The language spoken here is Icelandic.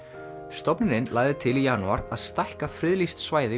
stofnunin lagði til í janúar að stækka friðlýst svæði